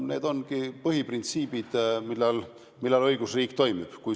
Need ongi põhiprintsiibid, mille korral õigusriik toimib.